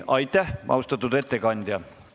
Aitäh, austatud ettekandja!